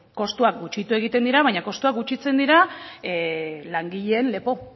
kostuak gutxitu egiten dira baina kostua gutxitzen dira langileen lepo